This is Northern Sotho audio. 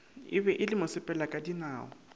e be e le mosepelakadinao